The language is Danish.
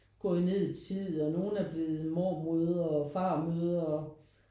Gået ned i tid og nogen er blevet mormødre og farmødre og